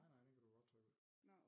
Nej nej den kan du godt trykke ud